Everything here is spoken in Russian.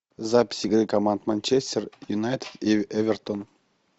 запись игры команд манчестер юнайтед и эвертон